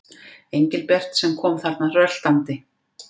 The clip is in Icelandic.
Engilbert sem kom þarna röltandi.